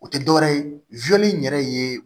O tɛ dɔwɛrɛ ye in yɛrɛ ye